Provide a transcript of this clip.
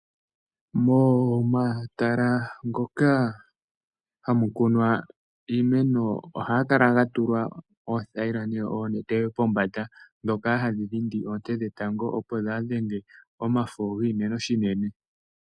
Momatala ngoka hamukunwa iimeno ohagakala gatulwa oothayila nenge oonete pombanda dhoka hadhi dhindi oonte dhetango opo dhaadhenge omafo giimeno shinene.